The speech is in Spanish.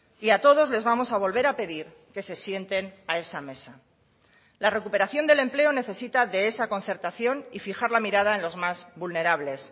y a todos les vamos a volver a pedir que se sienten a esa mesa la recuperación del empleo necesita de esa concertación y fijar la mirada en los más vulnerables